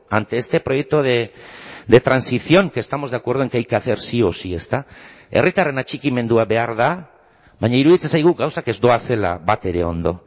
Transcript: ante este proyecto de transición que estamos de acuerdo en que hay que hacer sí o sí ezta herritarren atxikimendua behar da baina iruditzen zaigu gauzak ez doazela batere ondo